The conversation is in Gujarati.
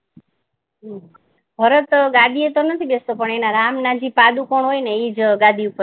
ભરત ગાદી પર તો નથી બેસતો પણ એના રામ ના જે પાદુકોન હોય ને એ જ ગાદી પર